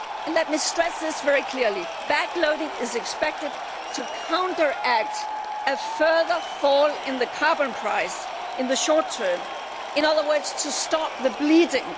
Let me stress this very clearly backloading is expected to counteract any further fall in the carbon price in the short term, in other words to stop the bleeding.